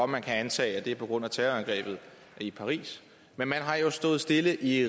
man kan antage at det er på grund af terrorangrebet i paris men man har jo stået stille i